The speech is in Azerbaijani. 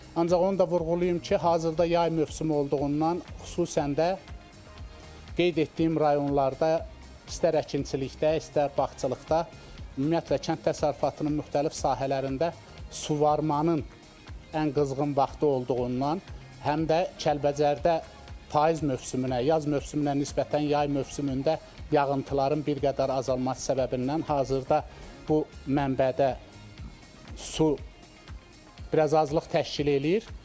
Ancaq onu da vurğulayım ki, hazırda yay mövsümü olduğundan, xüsusən də qeyd etdiyim rayonlarda istər əkinçilikdə, istər bağçılıqda, ümumiyyətlə kənd təsərrüfatının müxtəlif sahələrində suvarmanın ən qızğın vaxtı olduğundan həm də Kəlbəcərdə payız mövsümünə, yaz mövsümünə nisbətən yay mövsümündə yağıntıların bir qədər azalması səbəbindən hazırda bu mənbədə su biraz azlıq təşkil eləyir.